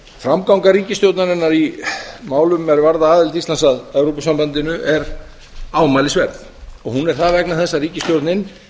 framganga ríkisstjórnarinnar í málum er varða aðild íslands að evrópusambandinu er ámælisverð hún er það vegna þess að ríkisstjórnin